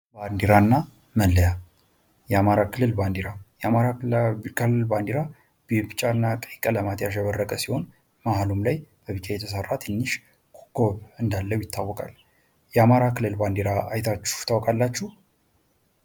ባንዲራና መለያ የአማራ ክልል ባንዲራ:- የአማራ ክልል ባንዲራ በቀይ እና ቢጫ ቀለማት ያሸበረቀ ሲሆን መሃል ላይ በቢጫ የተሰራ ትንሽ ኮኮብ እንዳለው ይታወቃል። የአማራ ክልል ባንዲራ አይታችሁ ታውቃላችሁ?